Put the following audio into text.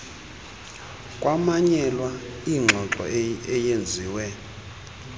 kwamanyelwa ingxoxo eyenziwe